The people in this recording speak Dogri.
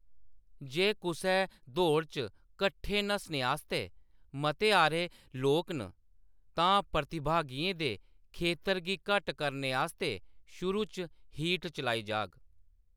जे कुसै दौड़ च कट्ठे नस्सने आस्तै मते हारे लोक न, तां प्रतिभागियें दे खेतर गी घट्ट करने आस्तै शुरू च हीट चलाई जाह्‌‌ग।